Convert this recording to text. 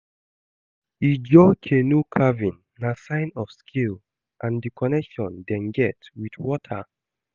Ijaw canoe carving na sign of skill and di connection dem get wit water.